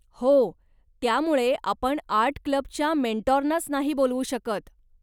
हो, त्यामुळे आपण आर्ट क्लबच्या मेंटोरनाच नाही बोलवू शकत.